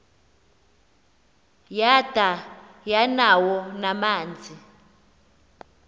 yada yanawo namanzi